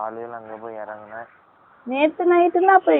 நேத்து. night னா அப்ரம் என்னைக்கு